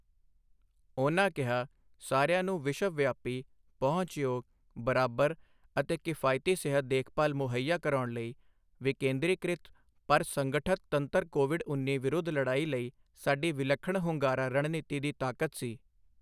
ਉਨ੍ਹਾਂ ਕਿਹਾ, ਸਾਰਿਆਂ ਨੂੰ ਵਿਸ਼ਵਵਿਆਪੀ, ਪਹੁੰਚਯੋਗ, ਬਰਾਬਰ ਅਤੇ ਕਿਫਾਇਤੀ ਸਿਹਤ ਦੇਖਭਾਲ ਮੁਹੱਈਆ ਕਰਾਉਣ ਲਈ ਵਿਕੇਂਦਰੀਕ੍ਰਿਤ ਪਰ ਸੰਗਠਤ ਤੰਤਰ ਕੋਵਿਡ ਉੱਨੀ ਵਿਰੁੱਧ ਲੜਾਈ ਲਈ ਸਾਡੀ ਵਿਲੱਖਣ ਹੁੰਗਾਰਾ ਰਣਨੀਤੀ ਦੀ ਤਾਕਤ ਸੀ।